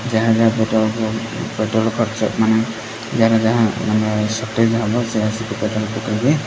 ଯାହା ଯାହା petrol pump petrol ଖର୍ଚ୍ଚ ମାନେ ଯାର ଯାହା ମାନେ ସଟେଜ ହବ ସେ ଆସିକି ପେଟ୍ରୋଲ ପକେଇବେ।